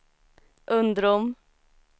Undrom